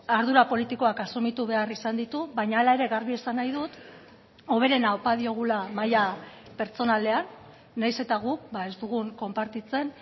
ardura politikoak asumitu behar izan ditu baina hala ere garbi esan nahi dut hoberena opa diogula maila pertsonalean nahiz eta guk ez dugun konpartitzen